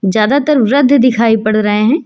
ज्यादातर वृद्ध दिखाई पड़ रहे है।